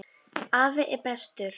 Afi er bestur.